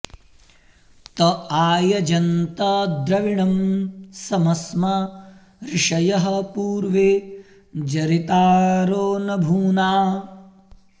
त आयजन्त द्रविणं समस्मा ऋषयः पूर्वे जरितारो न भूना